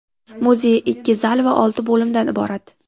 Muzey ikki zal va olti bo‘limdan iborat.